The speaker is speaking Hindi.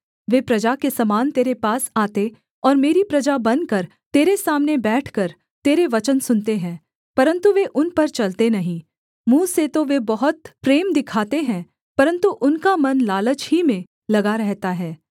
वे प्रजा के समान तेरे पास आते और मेरी प्रजा बनकर तेरे सामने बैठकर तेरे वचन सुनते हैं परन्तु वे उन पर चलते नहीं मुँह से तो वे बहुत प्रेम दिखाते हैं परन्तु उनका मन लालच ही में लगा रहता है